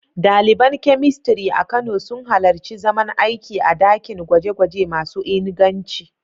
Daliban Chemistry a Kano sun halarci zaman aiki a dakin gwaje-gwaje masu inganci.